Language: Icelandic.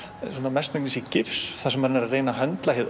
mestmegnis gifs þar sem hann er að reyna að höndla hið